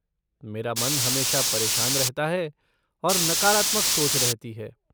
मेरा मन हमेशा परेशान रहता है और नकारात्मक सोच रहती है।